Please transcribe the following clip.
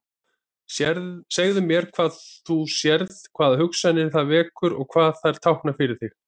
Segðu mér hvað þú sérð, hvaða hugsanir það vekur og hvað þær tákna fyrir þig.